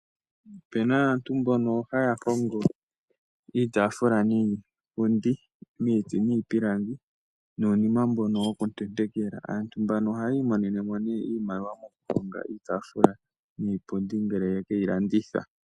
Opu na aantu mbono ha ya hongo iitaafula niipundi miiti nomiipilangi, nuunima mboka wokutentekela. Aantu mbono ohayi imonene mo iimaliwa ngele ya hongo e ta ya landitha iitaafula niipundi.